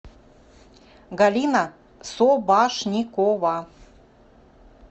галина собашникова